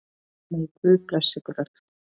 Megi Guð blessa ykkur öll.